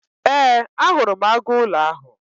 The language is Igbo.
Ee, ahụrụ m agụụlọ ahụ.